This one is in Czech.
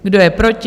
Kdo je proti?